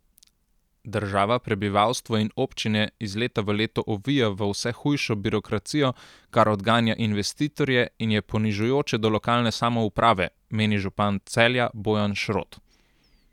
Država prebivalstvo in občine iz leta v leto ovija v vse hujšo birokracijo, kar odganja investitorje in je ponižujoče do lokalne samouprave, meni župan Celja, Bojan Šrot.